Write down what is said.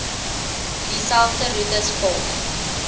dieselfde roetes volg